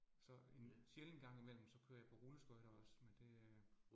Så en sjælden gang imellem, så kører jeg på rulleskøjter også, men det øh